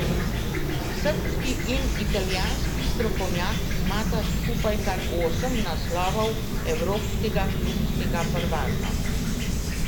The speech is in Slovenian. Srbski in italijanski strokovnjak imata skupaj kar osem naslovov evropskega klubskega prvaka.